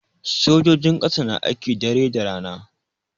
Sojojin ƙasa na aiki dare da rana.